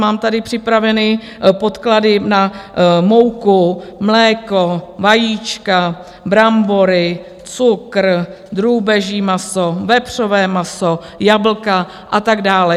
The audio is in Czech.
Mám tady připraveny podklady na mouku, mléko, vajíčka, brambory, cukr, drůbeží maso, vepřové maso, jablka a tak dále.